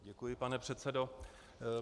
Děkuji, pane předsedo.